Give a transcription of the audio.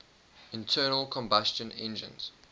internal combustion engines